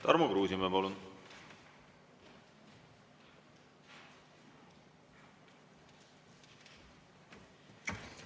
Tarmo Kruusimäe, palun!